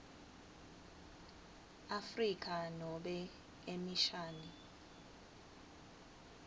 afrika nobe emishani